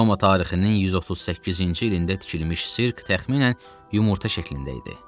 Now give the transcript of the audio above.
Roma tarixinin 138-ci ilində tikilmiş sirk təxminən yumurta şəklində idi.